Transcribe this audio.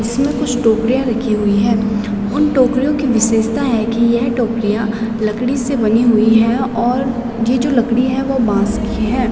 इसमें कुछ टोकरियाँ रखी हुई हैं उन टोकरियों की विशेषता है कि यह टोकरियाँ लकड़ी से बनी हुई हैं और ये जो लकड़ी है वो बांस की है।